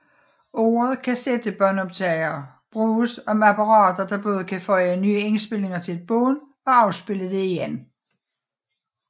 Ordet kassettebåndoptager bruges om apparater der både kan føje nye indspilninger til et bånd og afspille det igen